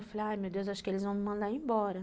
Eu falei, ai, meu Deus, acho que eles vão me mandar embora.